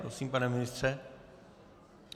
Prosím, pane ministře.